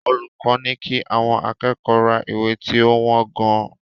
Olùkọ́ ní kí àwọn akẹ́kọ̀ọ́ ra ìwé tí ó wọ́n gan-an.